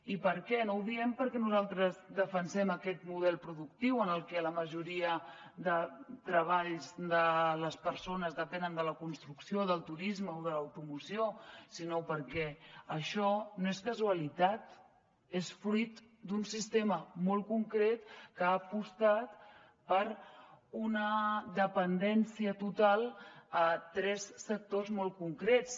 i per què no ho diem perquè nosaltres defensem aquest model productiu en el que la majoria de treballs de les persones depenen de la construcció o del turisme o de l’automoció sinó perquè això no és casualitat és fruit d’un sistema molt concret que ha apostat per una dependència total a tres sectors molt concrets